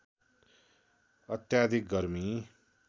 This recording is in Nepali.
अत्याधिक गर्मी